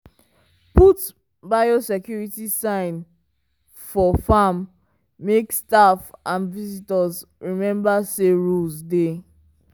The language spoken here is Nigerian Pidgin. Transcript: put biosecurity sign for farm make staff and visitors remember say rules dey.